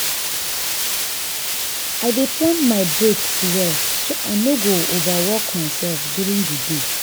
i dey plan my breaks well so i no go overwork myself during di day.